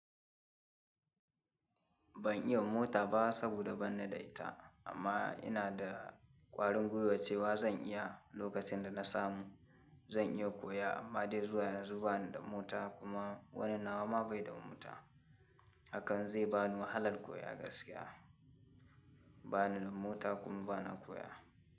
Ban iya mota ba saboda ban da ita amma ina da ƙwarin gwiwa cewa zan iya lokacin da na samu. Zan iya koya amma dai zuwa yanzu bana da mota kuma wani nawa ma bai da mota. Hakan zai ba ni wahalar koya gaskiya. Bana da mota kuma bana koya.